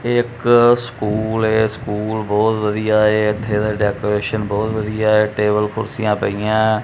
ਇੱਕ ਸਕੂਲ ਏ ਸਕੂਲ ਬਹੁਤ ਵਧੀਆ ਐ ਇਥੇ ਡੈਕੋਰੇਸ਼ਨ ਬਹੁਤ ਵਧੀਆ ਟੇਬਲ ਕੁਰਸੀਆਂ ਪਈਆਂ।